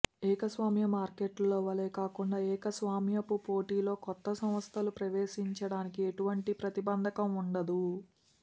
ఏకస్వామ్య మార్కెట్లో వలె కాకుండా ఏకస్వామ్యపు పోటీలో కొత్త సంస్థలు ప్రవేశించడానికి ఎటువంటి ప్రతిబంధకం ఉండదు